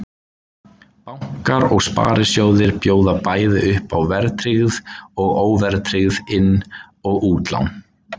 Bankar og sparisjóðir bjóða bæði upp á verðtryggð og óverðtryggð inn- og útlán.